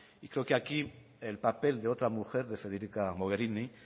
y creo que aquí el papel de otra mujer federica mogherini